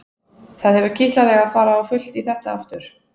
Það hefur kitlað þig að fara á fullt í þetta aftur?